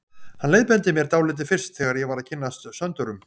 Hann leiðbeindi mér dálítið fyrst þegar ég var að kynnast Söndurum.